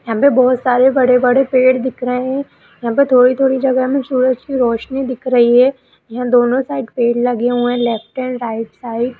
हम पे बोहोत सारे बड़े बड़े पेड़ दिख रहे हैं हम पे थोड़ी थोड़ी जगह में सूरज की रौशनी दिख रही है यह दोनो साइड पेड़ लगे हुए हैं लेफ्ट एंड राइट साइड ।